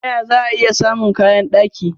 Ta ya za'a i samun kayan daki?